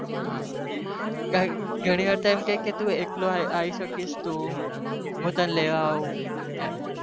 હા ઘણી વાર તો અમ ખે ક તું એકલો આવી શકે ઘરે